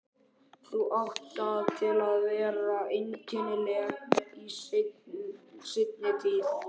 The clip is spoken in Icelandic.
Þau áttu það til að vera einkennileg í seinni tíð.